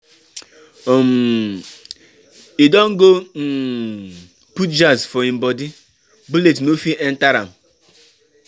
um E don go um put jazz for him bodi, bullet no fit enter am.